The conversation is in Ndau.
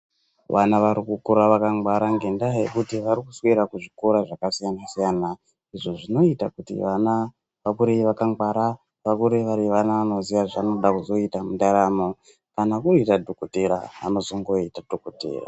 Vana vari kukura vakangwara ngendaa yekuti vari kuswera kuzvikora zvakasiyana siyana, izvo zvinoita kuti vana vakure vakangwara, vakure vari vana vanoziya zvaanoda kuzoita mundaramo. Kana kuri kuita dhokotera, anozongoita dhokotera.